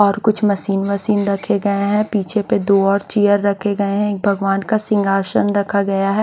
और कुछ मशीन वसीन रखे गए हैं पीछे पे दो और चेयर रखे गए हैं भगवान का सिंघासन रखा गया है।